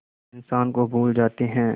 इंसान को भूल जाते हैं